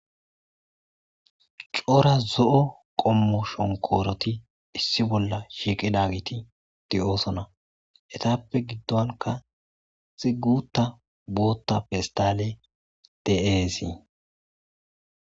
cora zo'o qommo shonkooroti issi bolla shiiqidagiti di'oosona etappe giddonka issi guta bootta pestale de'eesii